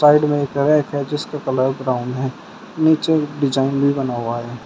Side में एक rack है जिसका कलर ब्राउन है नीचे डिजाइन भी बना हुआ है।